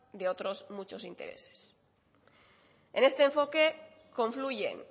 de otros muchos interés en este enfoque confluyen